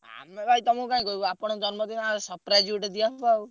ଆମେ ଭାଇ ତମୁକୁ କାଇଁ କହିବୁ ଆପଣଙ୍କ ଜନ୍ମଦିନ ଆଉ surprise ଗୋଟେ ଦିଆ ହବ ଆଉ।